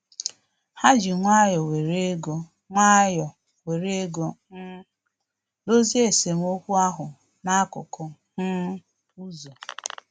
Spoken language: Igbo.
Ha ji nwayọ were ego nwayọ were ego um dozie esemokwu ahụ n'akụkụ um ụzọ